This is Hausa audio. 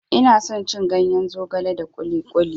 Ina son cin ganyen zogale da kuli kuli.